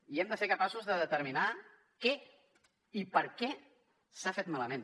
i hem de ser capaços de determinar què i per què s’ha fet malament